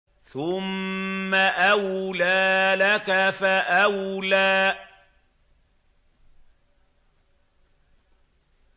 ثُمَّ أَوْلَىٰ لَكَ فَأَوْلَىٰ